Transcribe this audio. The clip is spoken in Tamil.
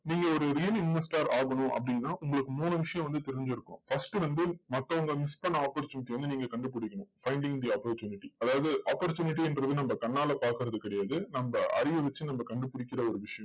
நீங்க ஒரு real investor ஆகணும் அப்படின்னா, உங்களுக்கு மூணு விஷயம் வந்து தெரிஞ்சிருக்கும் first வந்து மத்தவங்க miss பண்ண opportunity யை வந்து நீங்க கண்டுபிடிக்கணும் finding the opportunity அதாவது opportunity ன்றது நம்ம கண்ணால பார்க்கிறது கிடையாது. நம்ம அறிவ வச்சு நம்ம கண்டுபிடிக்கிற ஒரு விஷயம்.